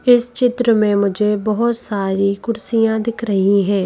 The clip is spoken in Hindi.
इस चित्र में मुझे बहुत सारी कुर्सियां दिख रही हैं।